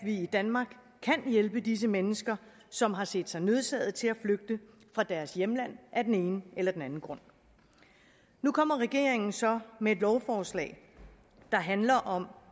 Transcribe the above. i danmark kan hjælpe disse mennesker som har set sig nødsaget til at flygte fra deres hjemland af den ene eller den anden grund nu kommer regeringen så med et lovforslag der handler om